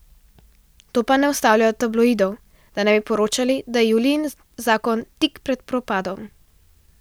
To pa ne ustavlja tabloidov, da ne bi poročali, da je Julijin zakon tik pred propadom.